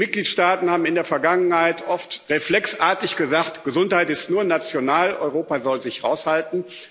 Die Mitgliedstaaten haben in der Vergangenheit oft reflexartig gesagt Gesundheit ist nur national, Europa soll sich raushalten.